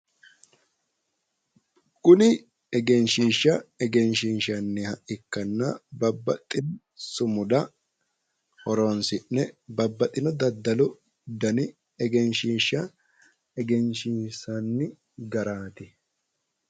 Kuni egenshiishsha egensiinssanniwa ikkanna babbaxino sumuda horonssi'ne babbaxino daddalu dana egenssiinssanni garaati.